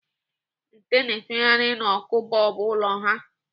Nte na-efegharị n'ọkụ bọlbụ ụlọ ha.